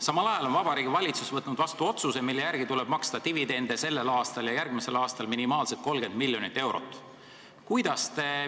Samal ajal on Vabariigi Valitsus võtnud vastu otsuse, mille järgi tuleb sellel ja järgmisel aastal maksta minimaalselt 30 miljonit eurot dividende.